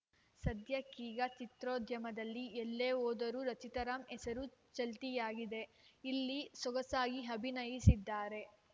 ಸದ್ಯಕ್ಕೀಗ ಚಿತ್ರೋದ್ಯಮದಲ್ಲಿ ಎಲ್ಲೇ ಹೋದರೂ ರಚಿತಾ ರಾಮ್‌ ಹೆಸರು ಚಾಲ್ತಿಯಾಗಿದೆ ಇಲ್ಲಿ ಸೊಗಸಾಗಿ ಅಭಿನಯಿಸಿದ್ದಾರೆ